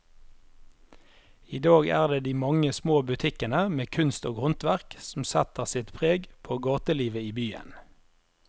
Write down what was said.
I dag er det de mange små butikkene med kunst og håndverk som setter sitt preg på gatelivet i byen.